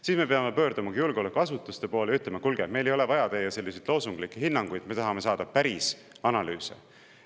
Siis me peamegi pöörduma julgeolekuasutuste poole ja ütlema, et kuulge, meil ei ole vaja teie loosunglikke hinnanguid, me tahame saada päris analüüse.